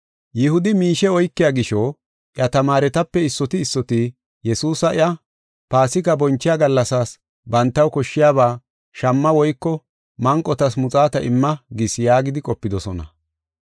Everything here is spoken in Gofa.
Yihudi miishe oykiya gisho, iya tamaaretape issoti issoti Yesuusi iya, “Paasika bonchiya gallasaas bantaw koshshiyaba shamma woyko manqotas muxaata imma gis” yaagidi qopidosona.